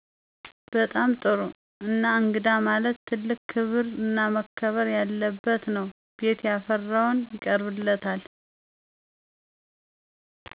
በጣም ጥሩ እና እንግዳ ማለት ትልቅ ክብር እና መከበር ያለበት ነው ቤት ያፈራውን ይቀርብለታል።